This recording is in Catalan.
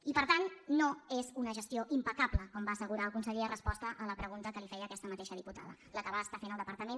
i per tant no és una gestió impecable com va assegurar el conseller en resposta a la pregunta que li feia aquesta mateixa diputada la que va fer el depar·tament